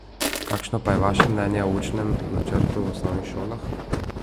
Kakšno pa je vaše mnenje o učnem načrtu v osnovnih šolah?